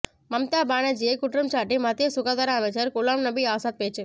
மம்தா பானர்ஜியை குற்றம் சாட்டி மத்திய சுகாதார அமைச்சர் குலாம் நபி ஆஸாத் பேச்சு